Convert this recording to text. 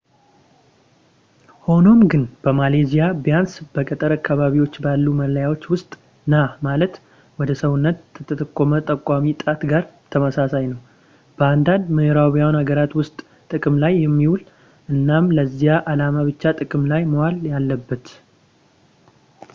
ሆኖም ግን በማሌዥያ ቢያንስ በገጠር አካባቢዎች ባሉ ማላዮች ውስጥ ና ማለት ነው ወደ ሰውነት ከተጠቆመ ጠቋሚ ጣት ጋር ተመሳሳይ ነው በአንዳንድ የምዕራባውያን አገራት ውስጥ ጥቅም ላይ የሚውል እናም ለዚያ ዓላማ ብቻ ጥቅም ላይ መዋል ያለበት